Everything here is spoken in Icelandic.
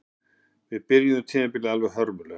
Við byrjuðum tímabilið alveg hörmulega